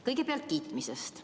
Kõigepealt kiitmisest.